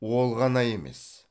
ол ғана емес